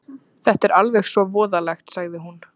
Þetta er alveg svo voðalegt, sagði hún.